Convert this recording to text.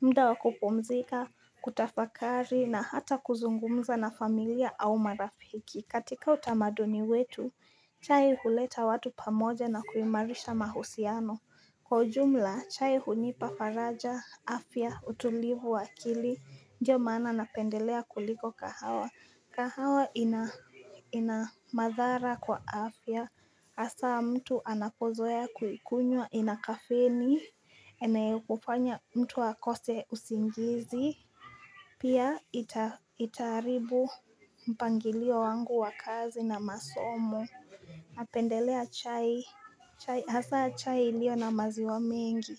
mda wa kupumzika, kutafakari na hata kuzungumza na familia au marafiki. Katika utamaduni wetu, chai huleta watu pamoja na kuimarisha mahusiano. Kwa ujumla, chai hunipa faraja, afya, utulivu wa akili, ndio maana napendelea kuliko kahawa. Kahawa ina madhara kwa afya hasa mtu anapozoea kuikunywa ina kafeni ene kufanya mtu akose usingizi Pia itaharibu mpangilio wangu wa kazi na masomo Napendelea chai hasa chai ilio na maziwa mengi.